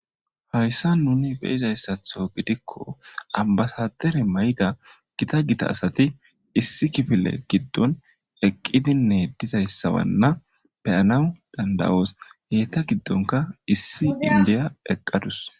Hayssa nuni beyizayssatho gidikko ambasadere mayga gita gita asati issi kifile giddon eqqidinne dizayssabanna beyanawu dandawoos heyta giddonka issi indiya eqqadus.